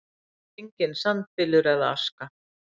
Enginn sandbylur eða aska.